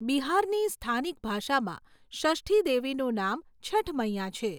બિહારની સ્થાનિક ભાષામાં ષષ્ઠી દેવીનું નામ છઠ મૈયા છે.